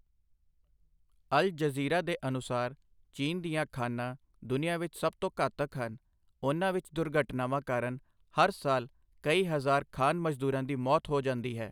ਅਲ Jazeera ਦੇ ਅਨੁਸਾਰ ਚੀਨ ਦੀਆਂ ਖਾਣਾਂ ਦੁਨੀਆ ਵਿੱਚ ਸਭ ਤੋਂ ਘਾਤਕ ਹਨ, ਉਨ੍ਹਾਂ ਵਿੱਚ ਦੁਰਘਟਨਾਵਾਂ ਕਾਰਨ ਹਰ ਸਾਲ ਕਈ ਹਜ਼ਾਰ ਖਾਣ ਮਜ਼ਦੂਰਾਂ ਦੀ ਮੌਤ ਹੋ ਜਾਂਦੀ ਹੈ।